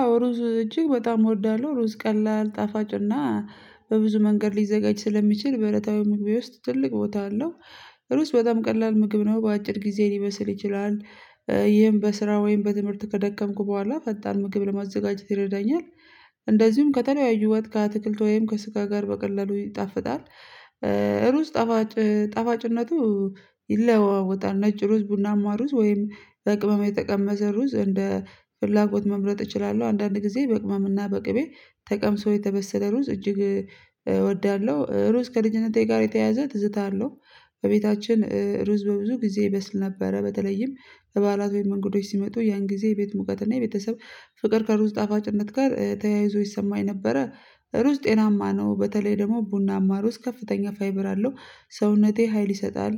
አዎ ሩዝ እጅግ በጣም እወዳለሁ ሩዝ ቀላል ጣፋጭና በብዙ መንገድ ሊዘጋጅ ስለሚችል በእለታዊ ምግቤ ውስጥ ትልቅ ቦታ አለው። ሩዝ በጣም ቀላል ምግብ ነው በአጭር ጊዜ ሊበስል ይችላል። ይህም በስራ ወይም በትምህርት ከደከምኩ በኋላ ፈጣን ምግብ ለማዘጋጀት ይረዳኛል። እንደዚሁም ከተለያዩ ወጥ አትክልት ወይም ከጋ ጋር በቀላሉ ይጣፍጣል። ሩዝ ጣፋጭ ጣፋጭነቱ ይለዋወጣል ነጭ ሩዝ ቡናማ ሩዝ ወይም በቅመም የተቀመሰ ሩዝ እንደ ፍላጎት መምረጥ እችላለሁ። አንዳንድ ጊዜ በቅመም እና በቅቤ ተቀምሶ የተበሰለ ሩዝ እጅግ እወዳለው ሩዝ ከልጅነቴ ጋር የተያያዘ ትዝታ አለው። በቤታችን ሩዝ በብዙ ጊዜ ይበስል ነበረ በተለይም በባዕላት ወይም እንግዶች ሲመጡ ያን ጊዜ የቤት ሙቀት እና የቤተሰብ ፍቅር ከሩዝ ጣፋጭነት ጋር ተያይዞ ይሰማኝ ነበረ። ሩዝ ጤናማ ነው በተለይ ደግሞ ቡናማ ሩዝ ከፍተኛ ፋይበር አለው። ሰውነቴ ሀይል ይሰጣል።